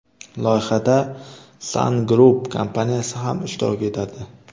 Loyihada Sun Group kompaniyasi ham ishtirok etadi.